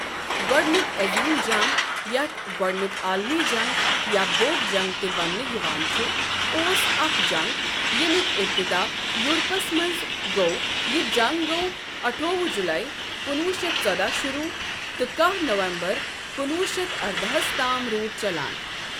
گۄڈنیک عٔظیٖم جنٛگ یَتھ گۄڈنیک عالمی جَنٛگ، یا بوٚڑ جنٛگ تہِ ونٛنہٕ یوان چھ اوس اَکھ جنٛگ ییٚمیک اِبتِدا یورپَس منٛز گو یہِ جَنٛگ گوو اٹھوُہ جلے کُنوُہ شیتھ ژوداہ شروع تہٕ کہہ نومبر کُنوُہ شیتھ ارداہس تام روٗد چَلان۔